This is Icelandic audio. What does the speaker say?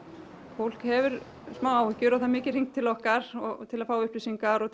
fólk hefur áhyggjur og það er mikið hringt til okkar til að fá upplýsingar og